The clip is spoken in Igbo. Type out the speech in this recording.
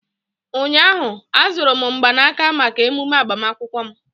ụnyahụ, azụrụ m mgbanaka maka emume agbamakwụkwọ m